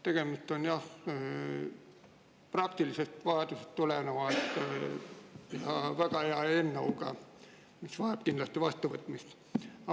Tegemist on jah praktilisest vajadusest tuleneva ja väga hea eelnõuga, mis tuleb kindlasti vastu võtta.